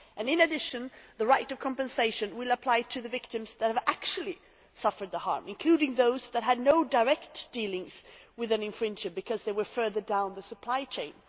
In addition, the right of compensation will apply to the victims who have actually suffered the harm, including those who had no direct dealings with an infringer because they were further down the supply chain.